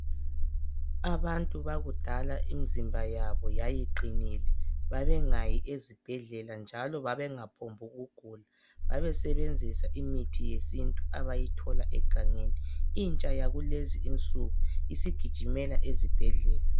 Abantu bakudala imzimba yabo yayiqinile babe ngayi ezibhedlela njalo babengaphombi ukugula babe sebenzisa imithi yesintu abayithola egangeni intsha yakulezi insuku isigijimela esibhedlela